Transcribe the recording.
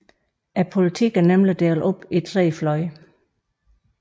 Politikken er nemlig delt op i tre fløje